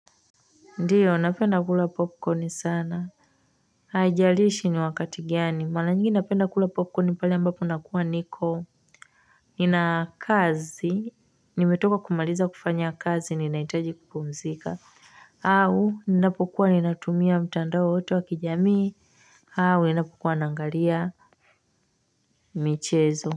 Ndio napenda kula popcorn sana haijalishi ni wakati gani. Mara nyingi napenda kula popcorn pale ambapo nakuwa niko. Nina kazi. Nimetoka kumaliza kufanya kazi ninahitaji kupumzika. Au, ninapokuwa ninatumia mtandao wowote wakijamii. Au, ninapokuwa naangalia michezo.